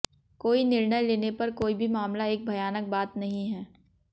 कोई निर्णय लेने पर कोई भी मामला एक भयानक बात नहीं है